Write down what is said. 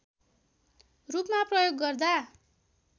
रूपमा प्रयोग गर्दा